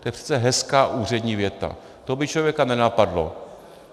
To je přece hezká úřední věta, to by člověka nenapadlo.